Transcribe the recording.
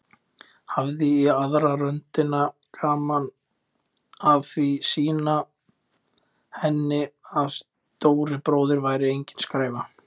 Hafði í aðra röndina gaman af að sýna henni að stóri bróðir væri engin skræfa.